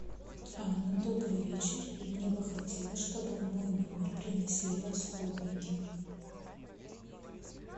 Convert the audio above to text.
анна добрый вечер и мне бы хотелось чтобы в мой номер принесли расходники